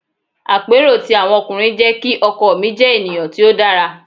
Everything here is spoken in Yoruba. Àpérò ti àwọn ọkùnrin jẹ́ kí ọkọ mi jẹ́ ènìyàn tí ó dára.